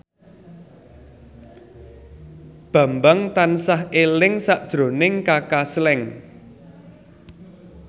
Bambang tansah eling sakjroning Kaka Slank